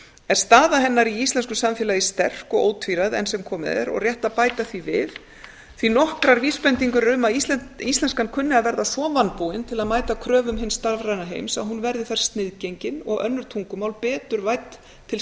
er staða hennar í íslensku samfélagi sterk og ótvíræð enn sem komið er og rétt að bæta við því að nokkrar vísbendingar eru um að íslenskan kunni að verða svo vanbúin til að mæta kröfum hins stafræna heims að hún verði þar sniðgengin og önnur tungumál betur vædd til